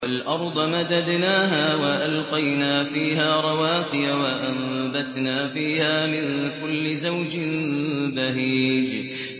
وَالْأَرْضَ مَدَدْنَاهَا وَأَلْقَيْنَا فِيهَا رَوَاسِيَ وَأَنبَتْنَا فِيهَا مِن كُلِّ زَوْجٍ بَهِيجٍ